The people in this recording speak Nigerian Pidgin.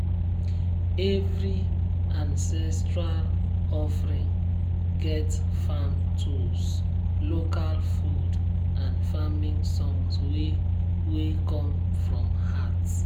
every ancestral offering get farm tools local food and farming songs wey wey come from heart.